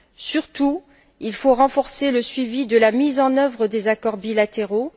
Surtout, il faut renforcer le suivi de la mise en œuvre des accords bilatéraux.